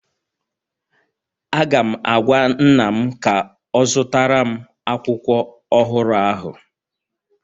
Aga m agwa nna'm ka ọ zụtara m akwụkwọ ọhụrụ ahụ